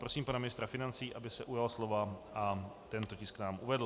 Prosím pana ministra financí, aby se ujal slova a tento tisk nám uvedl.